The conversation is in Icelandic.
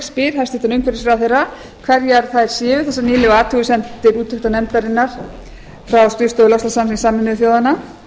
spyr hæstvirtur umhverfisráðherra hverjar þær séu þessar nýlegu athugasemdir úttektarnefndarinnar frá skrifstofu loftslagssamnings sameinuðu þjóðanna